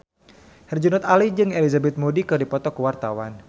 Herjunot Ali jeung Elizabeth Moody keur dipoto ku wartawan